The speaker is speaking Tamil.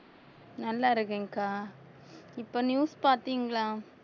நல்லா இருக்கேன்கா இப்ப news பார்த்தீங்களா